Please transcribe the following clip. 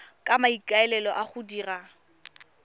ka maikaelelo a go dira